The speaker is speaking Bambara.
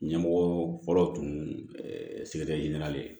Ɲɛmɔgɔ fɔlɔ tun sigi tɛ ɲɛnalen ye